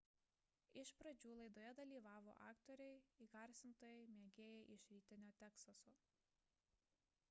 iš pradžių laidoje dalyvavo aktoriai įgarsintojai mėgėjai iš rytinio teksaso